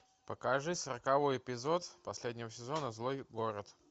покажи сороковой эпизод последнего сезона злой город